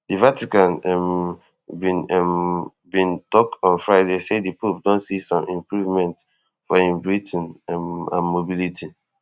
di vatican um bin um bin tok on friday say di pope don see some improvements for im breathing um and mobility